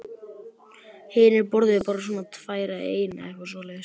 Hinir borðuðu bara svona tvær eða eina eða eitthvað svoleiðis.